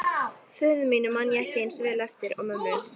Föður mínum man ég ekki eins vel eftir og mömmu.